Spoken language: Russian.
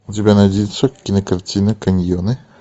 у тебя найдется кинокартина каньоны